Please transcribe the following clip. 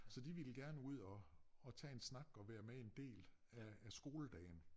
Så de ville gerne ud og og tage en snak og være med en del af af skoledagen